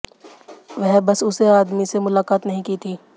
वह बस उसे आदमी से मुलाकात नहीं की थी